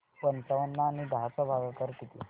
पंचावन्न आणि दहा चा भागाकार किती